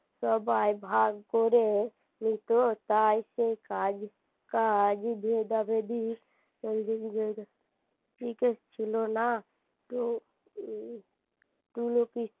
সবাই ভাগ করে নিত তাই সেই কাজ কাজ ভেদাভেদি টিকে ছিল না তো উম তুলো